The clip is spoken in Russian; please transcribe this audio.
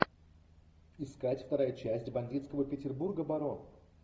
искать вторая часть бандитского петербурга барон